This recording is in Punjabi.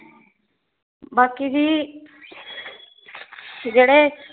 ਬਾਕੀ ਜੀ ਜਿਹੜੇ